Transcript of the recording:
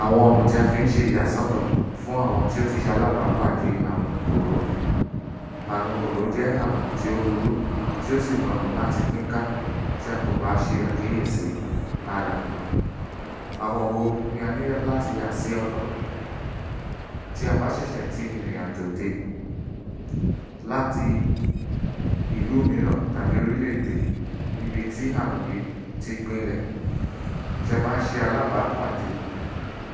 Àwọn ọ̀nà tí wọ́ fi ń ṣe ìyàsọ́tọ̀ fún àwọn tí ó ti ṣe alábàpàdé àrùn kòró. Àùn kòró jẹ́ àwùn tí ó burú tí ó sì rọrùn láti pín ká tí a kò bá ṣe àkíyèsí ara. Àwọn wo ni a ní láti yàsí ọ̀tọ̀ tí a bá ṣẹ̀ṣẹ̀ tí ìrìnàjò dé láti ìlú míràn tàbí orílẹ̀ èdè níbi tí àrùn yìí ti gbinlẹ̀. Tí a bá ṣe alábápàdé